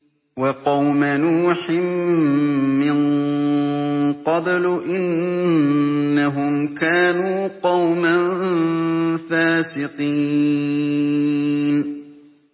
وَقَوْمَ نُوحٍ مِّن قَبْلُ ۖ إِنَّهُمْ كَانُوا قَوْمًا فَاسِقِينَ